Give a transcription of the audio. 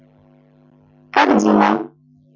ангина